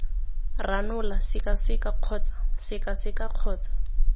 ranola sekaseka kgotsa sekaseka kgotsa